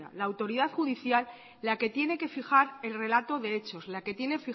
la autoridad judicial la que tiene que fijar el relato de hechos la que tiene